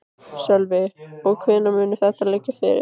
Sölvi: Og hvenær mun þetta liggja fyrir?